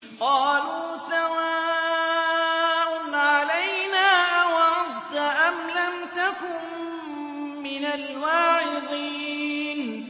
قَالُوا سَوَاءٌ عَلَيْنَا أَوَعَظْتَ أَمْ لَمْ تَكُن مِّنَ الْوَاعِظِينَ